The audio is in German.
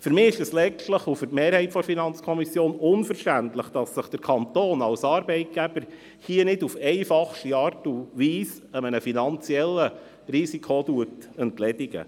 Für mich und die Mehrheit der FiKo ist es letztlich unverständlich, dass sich der Kanton als Arbeitgeber hier nicht auf einfachste Art und Weise eines finanziellen Risikos entledigt.